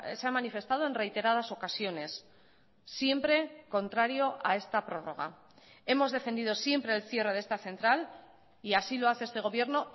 se ha manifestado en reiteradas ocasiones siempre contrario a esta prórroga hemos defendido siempre el cierre de esta central y así lo hace este gobierno